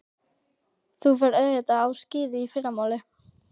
Þú ferð auðvitað á skíði í fyrramálið.